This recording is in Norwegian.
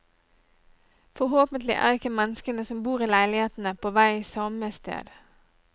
Forhåpentlig er ikke menneskene som bor i leilighetene, på vei samme sted.